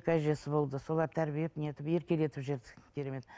екі әжесі болды солар тәрбиелеп не етіп еркелетіп жіберді керемет